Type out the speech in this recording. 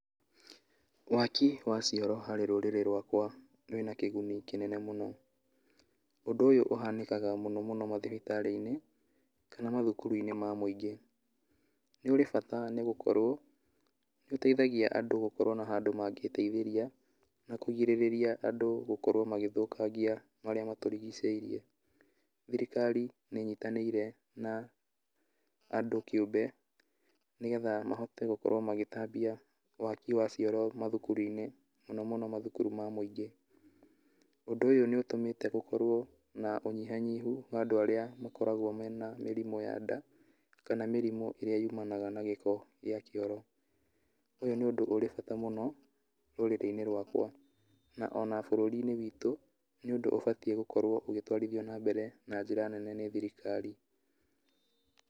Waki wa cioro harĩ rũrĩrĩ rwakwa wĩna kĩguni kĩnene mũno, ũndũ ũhanĩkaga mũno mũno mathibitarĩ-inĩ kana mathukuru-inĩ ma mũingĩ, nĩ ũrĩ bata nĩ gũkorwo nĩ ũteithagia andũ gũkorwo na handũ magĩĩteithĩria na kũrigĩrĩria andũ gũkorwo magĩthũkangia marĩa matũrigicĩirie, thirikari nĩ ĩnyitanĩire na andũ kĩũmbe nĩgetha mahote gũkorwo magĩtambia waki wa cioro mathukuru-inĩ mũno mũno mathukuru-inĩ ma mũingĩ, ũndũ ũyũ nĩ ũtũmĩte gũkorwo na ũnyihanyihu wa andũ arĩa makoragwo mena mĩrimũ ya nda, kana mĩrimũ ĩrĩa yumanaga na gĩko gĩa kĩoro, na nĩ ũndũ ũrĩ bata mũno rũrĩrĩ-inĩ rwakwa ona bũrũri-inĩ witũ nĩ ũndũ ũbatie gũkorwo ũgĩtwarithio na mbere na njĩra nene nĩ thirikari.